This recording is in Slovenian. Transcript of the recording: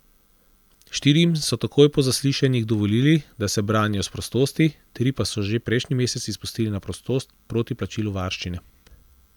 Štirim so takoj po zaslišanjih dovolili, da se branijo s prostosti, tri pa so že prejšnji mesec izpustili na prostost proti plačilu varščine.